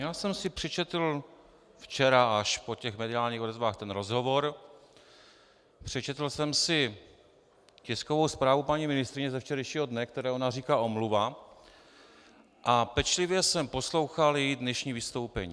Já jsem si přečetl včera až po těch mediálních odezvách ten rozhovor, přečetl jsem si tiskovou zprávu paní ministryně ze včerejšího dne, které ona říká omluva, a pečlivě jsem poslouchal její dnešní vystoupení.